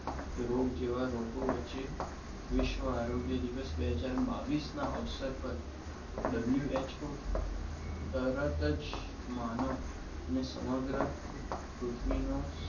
રોગ જેવા રોગો વચ્ચે વિશ્વા આરોગ્ય દિવસ બે હજાર બાવીસ ના અવસર પર WHO તરત જ માનવ અને સમગ્ર પૃથ્વી નો